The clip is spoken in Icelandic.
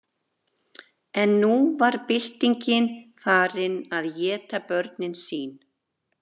en nú var byltingin farin að éta börnin sín